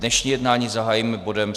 Dnešní jednání zahájíme bodem